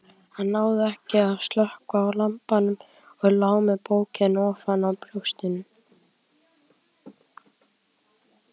Hann náði ekki að slökkva á lampanum og lá með bókina ofan á brjóstinu.